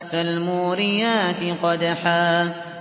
فَالْمُورِيَاتِ قَدْحًا